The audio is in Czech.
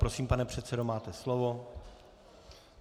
Prosím, pane předsedo, máte slovo.